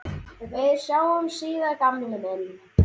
Við sjáumst síðar gamli minn.